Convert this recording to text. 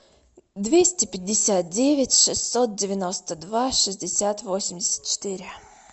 двести пятьдесят девять шестьсот девяносто два шестьдесят восемьдесят четыре